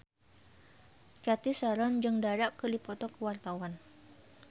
Cathy Sharon jeung Dara keur dipoto ku wartawan